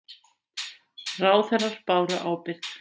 Ráðherrar báru ábyrgð